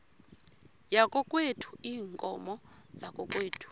yakokwethu iinkomo zakokwethu